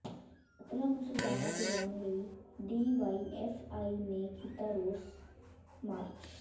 ਕਾਤਲਾਂ ਨੂੰ ਸਜਾਵਾਂ ਦਿਵਾਉਣ ਲਈ ਡੀਵਾਈਐੱਫਆਈ ਨੇ ਕੀਤਾ ਰੋਸ ਮਾਰਚ